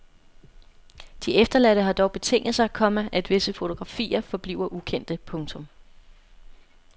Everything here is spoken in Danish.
De efterladte har dog betinget sig, komma at visse fotografier forbliver ukendte. punktum